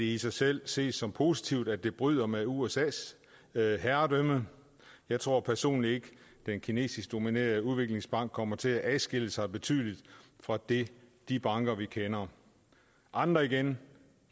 i sig selv ses som positivt at det bryder med usas herredømme jeg tror personligt ikke den kinesisk dominerede udviklingsbank kommer til at adskille sig betydeligt fra de banker vi kender andre igen